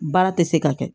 Baara tɛ se ka kɛ